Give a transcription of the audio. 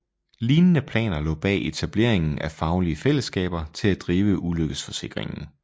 Lignende planer lå bag etableringen af faglige fællesskaber til at drive ulykkesforsikringen